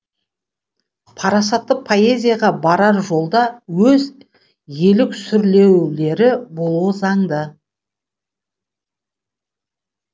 парасатты поэзияға барар жолда өз еліксүрлеулері болуы заңды